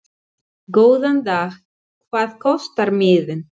Góðan dag. Hvað kostar miðinn?